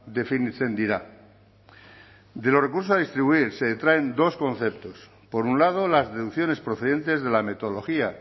definitzen dira de los recursos a distribuir se detraen dos conceptos por un lado las deducciones procedentes de la metodología